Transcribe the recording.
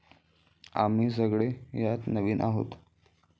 आम्ही सगळे यात नवीन आहोत.